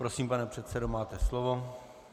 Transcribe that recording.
Prosím, pane předsedo, máte slovo.